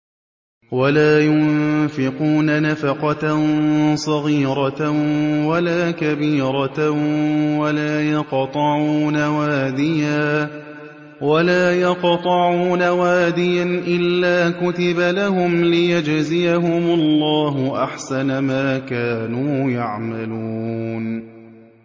وَلَا يُنفِقُونَ نَفَقَةً صَغِيرَةً وَلَا كَبِيرَةً وَلَا يَقْطَعُونَ وَادِيًا إِلَّا كُتِبَ لَهُمْ لِيَجْزِيَهُمُ اللَّهُ أَحْسَنَ مَا كَانُوا يَعْمَلُونَ